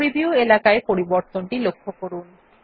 preview এলাকায় পরিবর্তনটি লক্ষ্য করুন